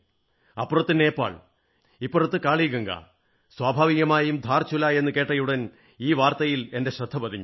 അപ്പുറത്ത് നേപ്പാൾ ഇപ്പുറത്ത് കാളിഗംഗാ സ്വാഭാവികമായും ധാർചുല എന്നു കേട്ടയുടൻ ഈ വാർത്തയിൽ എന്റെ ശ്രദ്ധപതിഞ്ഞു